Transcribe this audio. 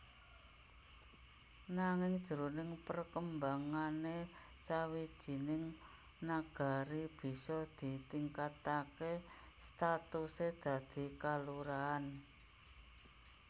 Nanging jroning perkembangané sawijining Nagari bisa ditingkataké statusé dadi kalurahan